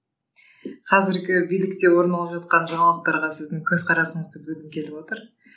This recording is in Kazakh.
қазіргі билікте орын алып жатқан жаңалықтарға сіздің көзқарасыңызды білгім келіп отыр